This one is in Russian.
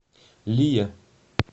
лия